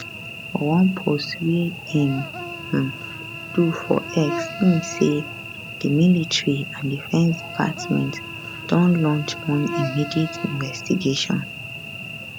for one post wey im um do for x im say di military and defence department don launch one immediate investigation